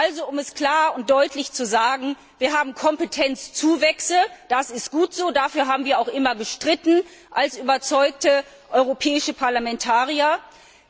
Also um es klar und deutlich zu sagen Wir haben Kompetenzzuwächse, das ist gut so, dafür haben wir auch immer als überzeugte europäische Parlamentarier gestritten.